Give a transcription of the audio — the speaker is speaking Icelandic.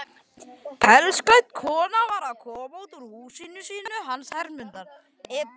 Pelsklædd kona var að koma út úr húsinu hans Hermundar.